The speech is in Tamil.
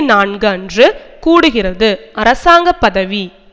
நான்கு அன்று கூடுகிறது அரசாங்க பதவி